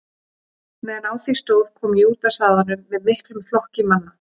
meðan á því stóð kom júdas að honum með miklum flokki manna